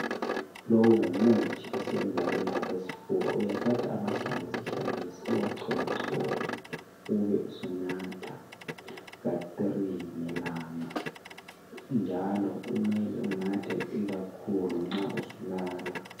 Lowu ngumuthi osebenza ukwelapha isifuba uyathatha amahlamvu esihlahla lesi uwachole chole ube usunatha ka three ngelanga njalo kumele unathe ikakhulu nxa usulala.